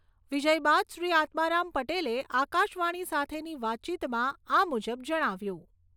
વિજય બાદ શ્રી આત્મારામ પટેલે આકાશવાણી સાથેની વાતચીતમાં આ મુજબ જણાવ્યું.